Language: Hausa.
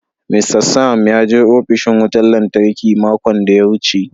"Mr Sam" ya je opishin wutan lantarki makon daya wuce.